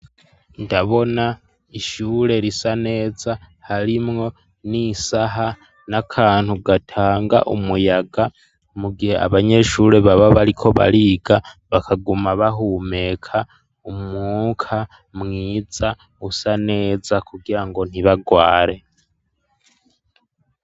Ndabona ishure risa neza harimwo n'isaha n'akantu gatanga umuyaga mu gihe abanyeshuri baba bariko bariga bakaguma bahumeka umwuka mwiza usa neza kugira ngo ntibarware.